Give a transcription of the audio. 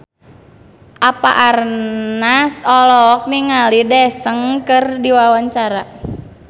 Eva Arnaz olohok ningali Daesung keur diwawancara